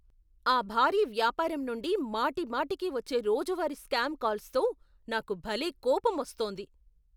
ఆ భారీ వ్యాపారం నుండి మాటిమాటికీ వచ్చే రోజువారీ స్పామ్ కాల్స్తో నాకు భలే కోపమోస్తోంది.